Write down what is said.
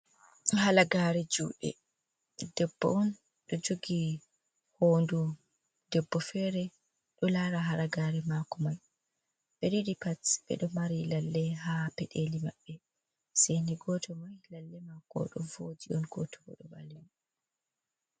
Halagare juɗe. Debbo on ɗo jogi hoto debbo fere ɗo lara halagare mako. Ɓe ɗiɗi pat ɓeɗo mari lalle ha peɗeli maɓɓe. Sei ni goto mai lalle mako ɗo voji on goto bo ɗo ɓalwi.